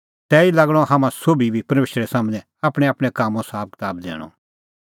तैही लागणअ हाम्हां सोभी बी परमेशरा सम्हनै आपणैंआपणैं कामों साबकताब दैणअ